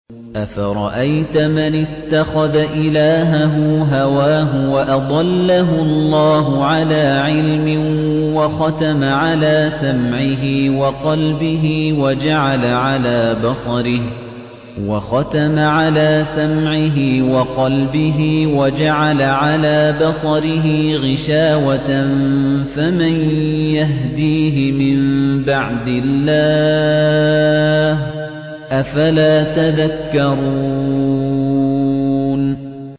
أَفَرَأَيْتَ مَنِ اتَّخَذَ إِلَٰهَهُ هَوَاهُ وَأَضَلَّهُ اللَّهُ عَلَىٰ عِلْمٍ وَخَتَمَ عَلَىٰ سَمْعِهِ وَقَلْبِهِ وَجَعَلَ عَلَىٰ بَصَرِهِ غِشَاوَةً فَمَن يَهْدِيهِ مِن بَعْدِ اللَّهِ ۚ أَفَلَا تَذَكَّرُونَ